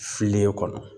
Fililen kɔnɔ